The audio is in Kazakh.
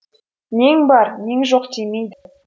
нең бар нең жоқ демейді